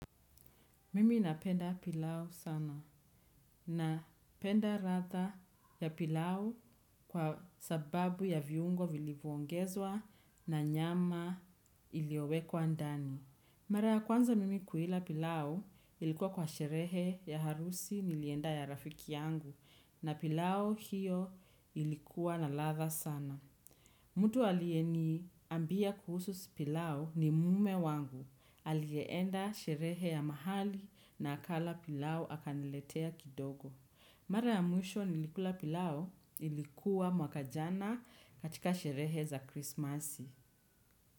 Mimi napenda pilau sana napenda radha ya pilau kwa sababu ya viungo vilivyongezwa na nyama iliyowekwa ndani. Mara ya kwanza mimi kuila pilau ilikuwa kwa sherehe ya harusi nilienda ya rafiki yangu na pilau hiyo ilikuwa na ladha sana. Mtu aliyeniambia kuhusu pilau ni mume wangu. Alienda sherehe ya mahali na akala pilau akaniletea kidogo. Mara ya mwisho nilikula pilau ilikuwa mwaka jana katika sherehe za krismasi.